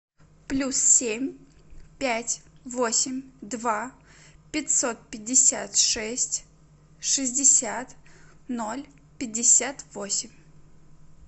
плюс семь пять восемь два пятьсот пятьдесят шесть шестьдесят ноль пятьдесят восемь